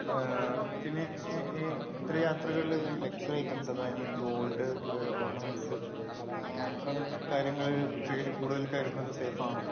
പിന്നെ ഈ ഇത്തരം യാത്രകളിൽ ലക്ഷുറി ഐറ്റംസ് അതായത് ഗോൾഡ്, ഒർണമെന്റ്റ്സ് അത്തരം കാര്യങ്ങൾ കയ്യിൽ കൂടുതൽ കരുതുന്നത് സേഫ് ആണോ?